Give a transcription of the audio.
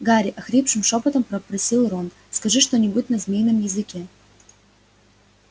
гарри охрипшим шёпотом попросил рон скажи что-нибудь на змеином языке